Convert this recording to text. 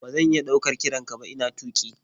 Ba zan iya ɗaukar kiran ka ba ina tuƙi.